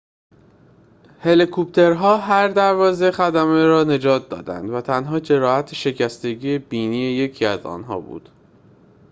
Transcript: هلیکوپترها هر دوازده خدمه را نجات دادند و تنها جراحت شکستگی بینی یکی از آنها بود